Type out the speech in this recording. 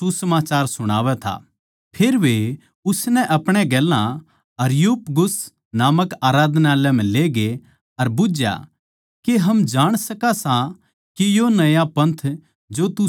फेर वे उसनै अपणे गेल्या अरियुपगुस नामक आराधनालय म्ह लेगे अर बुझ्झया के हम जाण सकां सां के यो नया पंथ जो तू सुणावै सै के सै